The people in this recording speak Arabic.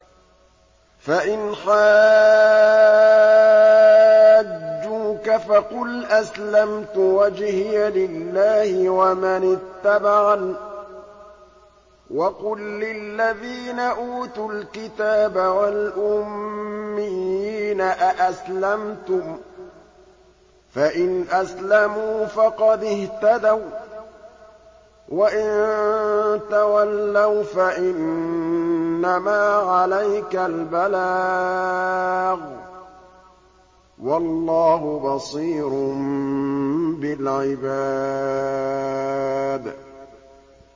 فَإِنْ حَاجُّوكَ فَقُلْ أَسْلَمْتُ وَجْهِيَ لِلَّهِ وَمَنِ اتَّبَعَنِ ۗ وَقُل لِّلَّذِينَ أُوتُوا الْكِتَابَ وَالْأُمِّيِّينَ أَأَسْلَمْتُمْ ۚ فَإِنْ أَسْلَمُوا فَقَدِ اهْتَدَوا ۖ وَّإِن تَوَلَّوْا فَإِنَّمَا عَلَيْكَ الْبَلَاغُ ۗ وَاللَّهُ بَصِيرٌ بِالْعِبَادِ